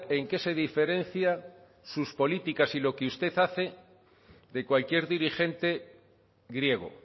en qué se diferencia sus políticas y lo que usted hace de cualquier dirigente griego